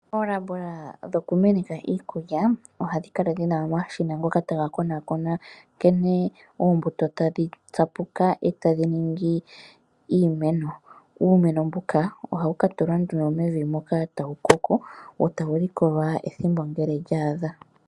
Oolabola dhoku meneka iikulya ohadhi kala dhina omashina ngoka taga konaakona ngele oombuto tadhi tsapuka nenge tashi ningi iimeno. Uumeno mbuka ohawu katukwa nduno mevi wo tawu koko, wo tawu likolwa ethimbo ngele lya a dha.